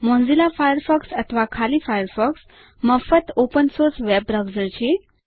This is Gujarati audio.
મોઝીલા ફાયરફોક્સ અથવા ખાલી ફાયરફોક્સ મફત ઓપન સોર્સ વેબ બ્રાઉઝર છે